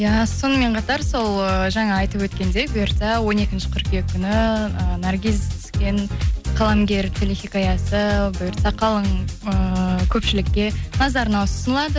иә сонымен қатар сол ііі жаңа айтып өткендей бүйырса он екінші қыркүйек күні ііі наргиз түскен қаламгер телехикаясы бұйыртса қалың ііі көпшілікке назарына ұсынылады